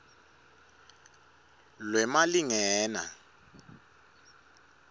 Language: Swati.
lwemalingena